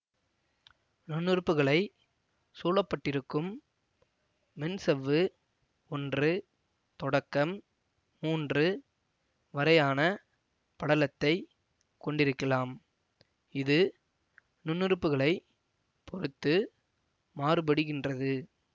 நுண்ணுறுப்புகளைச் சூழப்பட்டிருக்கும் மென்சவ்வு ஒன்று தொடக்கம் மூன்று வரையான படலத்தைக் கொண்டிருக்கலாம் இது நுண்ணுறுப்புகளைப் பொறுத்து மாறுபடுகின்றது